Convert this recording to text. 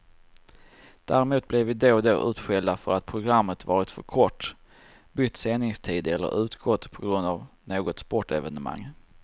Däremot blir vi då och då utskällda för att programmet varit för kort, bytt sändningstid eller utgått på grund av något sportevenemang.